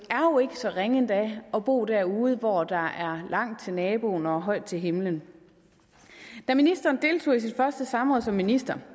så ringe endda at bo derude hvor der er langt til naboen og højt til himlen da ministeren deltog i sit første samråd som minister